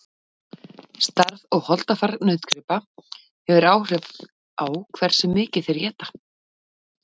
stærð og holdafar nautgripa hefur áhrif á hversu mikið þeir éta